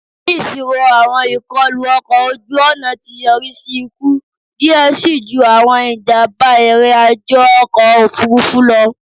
Ni iṣiro awọn ikọlu ọkọ oju-ọna ti yori si iku diẹ sii ju awọn ijamba irin-ajo ọkọ ofurufu lọ